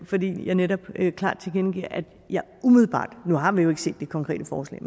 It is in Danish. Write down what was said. fordi jeg netop klart tilkendegav at jeg umiddelbart og nu har vi jo ikke se det konkrete forslag